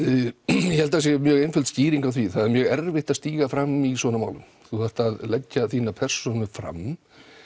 ég held að það sé mjög einföld skýring á því það er mjög erfitt að stíga fram í svona málum þú þarft að leggja þína persónu fram